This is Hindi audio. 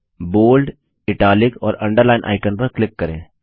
अब बोल्ड इटालिक और अंडरलाइन आइकन पर क्लिक करें